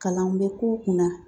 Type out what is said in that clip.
Kalan bɛ k'u kunna